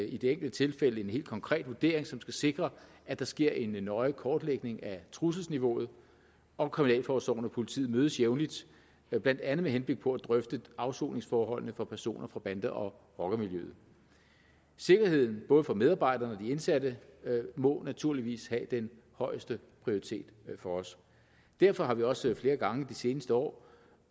i det enkelte tilfælde en helt konkret vurdering som skal sikre at der sker en nøje kortlægning af trusselsniveauet og kriminalforsorgen og politiet mødes jævnligt blandt andet med henblik på at drøfte afsoningsforholdene for personer fra bande og rockermiljøet sikkerheden både for medarbejderne og for de indsatte må naturligvis have den højeste prioritet for os derfor har vi også flere gange i de seneste år